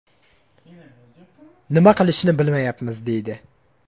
Nima qilishni bilmayapmiz”, deydi.